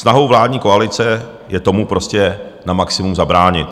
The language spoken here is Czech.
Snahou vládní koalice je tomu prostě na maximum zabránit.